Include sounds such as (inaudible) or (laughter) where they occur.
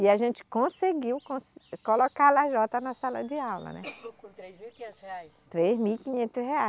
E a gente conseguiu (unintelligible) colocar a lajota na sala de aula, né? (coughs) com três mil e quinhentos reais? Três mil e quinhentos reais